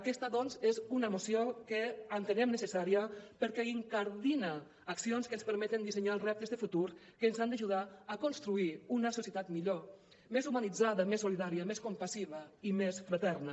aquesta doncs és una moció que entenem necessària perquè incardina accions que ens permeten dissenyar els reptes de futur que ens han d’ajudar a construir una societat millor més humanitzada més solidària més compassiva i més fraterna